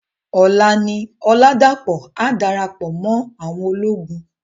Òlá ni Oladapo á dárápò mò áwòn ólógùn.